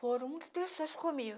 Foram muitas pessoas comigo.